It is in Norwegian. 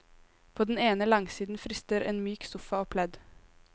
På den ene langsiden frister en myk sofa og pledd.